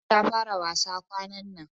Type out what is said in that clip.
Hafsa ta fara wasa kwanan nan.